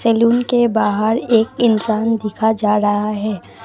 Salon के बाहर एक इंसान दिखा जा रहा है।